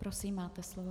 Prosím, máte slovo.